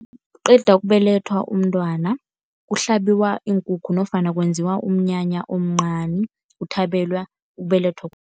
Nakuqeda ukubelethwa umntwana, kuhlabiwa iinkukhu nofana kwenziwa umnyanya omncani. Kuthabelwa ukubelethwa